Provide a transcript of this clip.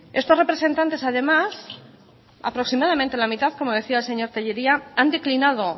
estos representantes además aproximadamente la mitad como decía el señor tellería han declinado